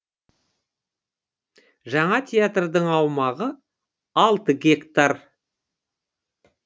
жаңа театрдың аумағы алты гектар